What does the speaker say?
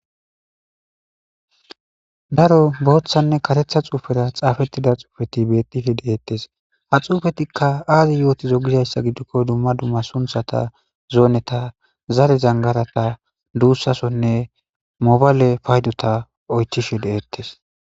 Daro bothanne karethara xafetida xufeti de'ettes.ha xuufetikka azi yottizee? Gizayssa giddikko dumma dumma zoneta zare zanggarata dussasonne mobale paydotta oychishe de'ettes.